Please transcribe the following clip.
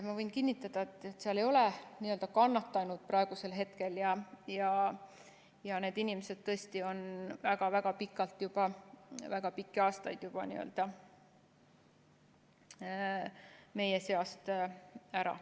Ma võin kinnitada, et seal ei ole n-ö kannatanut praegusel hetkel, ja need inimesed on tõesti juba väga-väga pikalt, väga pikki aastaid meie seast ära.